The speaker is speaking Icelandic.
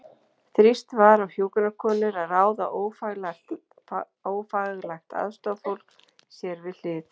Þrýst var á hjúkrunarkonur að ráða ófaglært aðstoðarfólk sér við hlið.